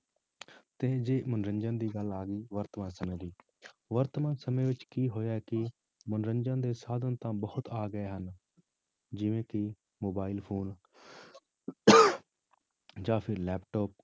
ਤੇ ਜੇ ਮਨੋਰੰਜਨ ਦੀ ਗੱਲ ਆ ਗਈ ਵਰਤਮਾਨ ਸਮੇਂ ਦੀ ਵਰਤਮਾਨ ਸਮੇਂ ਵਿੱਚ ਕੀ ਹੋਇਆ ਕਿ ਮਨੋਰੰਜਨ ਦੇ ਸਾਧਨ ਤਾਂ ਬਹੁਤ ਆ ਗਏ ਹਨ, ਜਿਵੇਂ ਕਿ mobile phone ਜਾਂ ਫਿਰ laptop